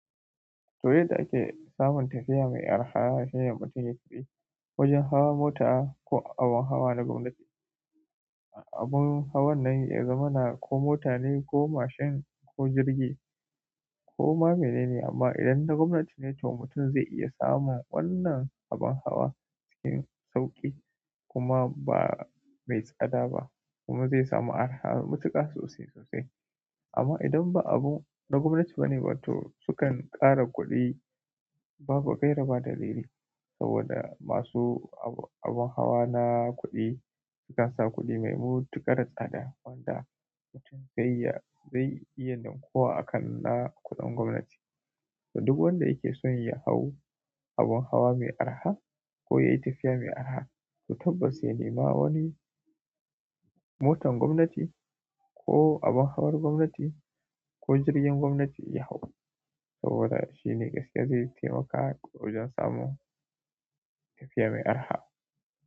To, yadda ake samun tafiya mai araha shine mutum ya tafi wajen hawa mota ko abin hawa na gwamnati. Abin hawan nan ya zamana ko mota ne ko mashin ko jirgi. Ko ma mene ne amma idan na gwamnati ne to mutum zai iya samun wannan abin hawa cikin sauƙi kuma ba mai tsada ba kuma zai samu araha matuƙa sosai sosai. Amma idan ba abu na gwamnati ba ne, to sukan ƙara kuɗi babu gaira ba dalili saboda masu abin hawa na kuɗi sukan sa kuɗi mai mutuƙar tsada wanda mutum zai iya, zai iya fin kowa a kan na kuɗin gwamnati. To duk wanda yake son ya hau abin hawa mai araha ko yayi tafiya mai araha, to tabbas ya nema wani motan gwamnati ko abin hawar gwamnati ko jirgin gwamnati ya hau saboda shi ne gaskiya zai taimaka wajen samun tafiya mai araha.